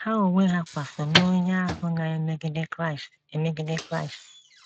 Ha onwe ha kwa so n’onye ahụ na - emegide Kraịst ,emegide Kraịst.